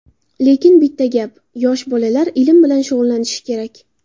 Lekin, bitta gap yosh bolalar ilm bilan shug‘ullanishi kerak.